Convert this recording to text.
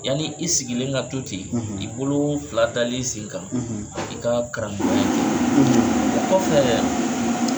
Yani i sigilen ka to ten i bolo fila dalen i sen kan i ka karamɔgɔya o kɔ kɔfɛ